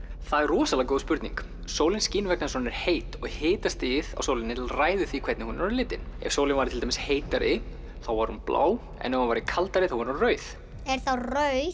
það er rosalega góð spurning sólin skín vegna þess að hún er heit hitastigið á sólinni ræður því hvernig hún er á litinn ef sólin væri til dæmis heitari þá væri hún blá ef hún væri kaldari þá væri hún rauð er þá rauður